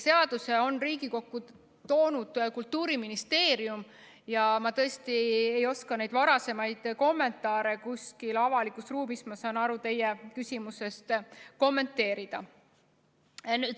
Seaduse on Riigikokku toonud Kultuuriministeerium ja ma tõesti ei oska neid varasemaid kommentaare kuskil avalikus ruumis, ma saan aru teie küsimusest nii, kommenteerida.